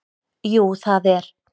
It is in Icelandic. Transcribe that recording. Jú það er